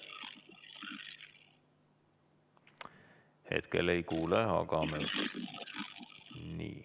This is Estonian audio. Hetkel ei kuule.